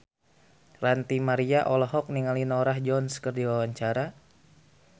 Ranty Maria olohok ningali Norah Jones keur diwawancara